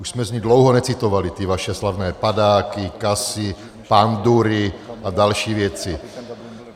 Už jsme z ní dlouho necitovali ty vaše slavné padáky, casy, pandury a další věci.